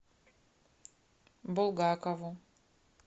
булгакову